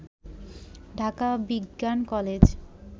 ঢাকা বিজ্ঞান কলেজ